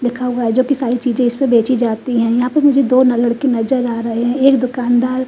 लिखा हुआ है जो की सारी चीज़े इस पर बेचीं जाती है यहाँ पर मुझे दो लड़के नज़र आरहे है एक दुकानदार--